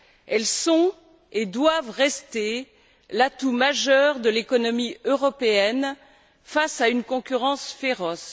Elles sont et doivent rester l'atout majeur de l'économie européenne face à une concurrence féroce.